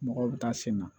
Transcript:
Mɔgɔw bɛ taa sen na